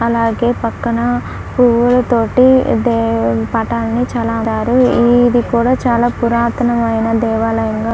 అలాగే పక్కన పువ్వులతోటి దేవ్- పటాన్ని చాలా ఈ ఇది కూడా చాలా పురాతనమైన దేవాలయంగా--